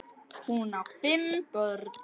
Hún á fimm börn.